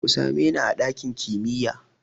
Ku same ni a ɗakin kimiya!